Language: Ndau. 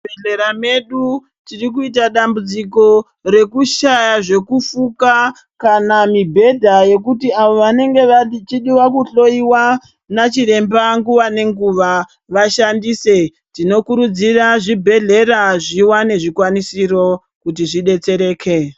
Muzvibhedhlera medu tirikuita dambudziko rekushaya zvekufuka kana mibhedha yekuti avo vanenge vachidiwa kuhloyiwa nana chiremba nguva ne guva vashandise tinokuridzira zvibhedhlera zviwane zvikwanisiro kuti zvodetsereke.